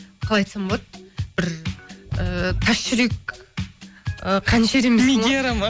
қалай айтсам болады бір ыыы тас жүрек ы қанішер емеспін ғой мигера ма